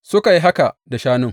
Suka yi haka da shanun.